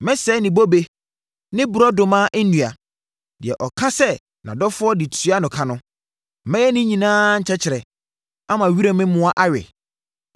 Mɛsɛe ne bobe ne borɔdɔma nnua, deɛ ɔka sɛ nʼadɔfoɔ de tuaa no ka no; mɛyɛ ne nyinaa nkyɛkyerɛ, ama wiram mmoa awe.